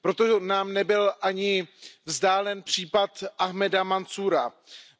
Proto nám nebyl ani vzdálen případ Ahmada Mansúra,